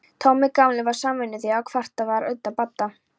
Tommi gamli var samvinnuþýður ef kvartað var undan Badda.